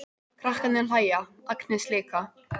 Krakkarnir hlæja, Agnes líka.